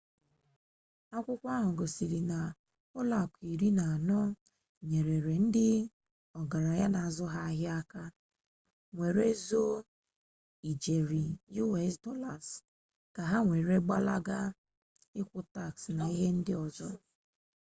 akwukwo ahu gosiri na ulo aku iri na ano nyere ndi ogaranya n'azu ha ahia aka were zoo ijeri us dollars ka ha were gbalaga ikwu tax na ihe ndi ozo